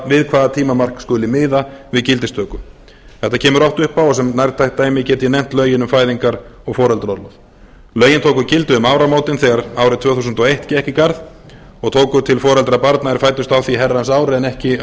við hvaða tímamark skuli miða við gildistöku þetta kemur oft upp og sem nærtækt dæmi get ég nefnt lögin um fæðingar og foreldraorlof lögin tóku gildi um áramótin daga árið tvö þúsund og eitt gekk í garð og tóku til foreldra barna er fæddust á því herrans ári en ekki